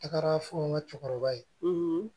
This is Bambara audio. Taga fɔ n ka cɛkɔrɔba ye